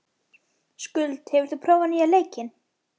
Skuld, hefur þú prófað nýja leikinn?